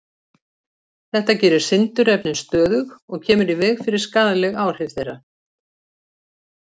Þetta gerir sindurefnin stöðug og kemur í veg fyrir skaðleg áhrif þeirra.